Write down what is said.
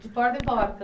De porta em porta.